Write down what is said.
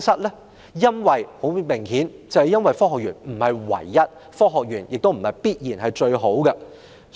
答案很明顯，就是科學園並非唯一選擇，也未必最好。